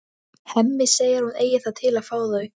Hemmi segir að hún eigi það til að fá þau.